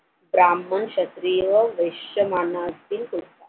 ब्राम्हण क्षत्रिय वैश्य मानातील होते.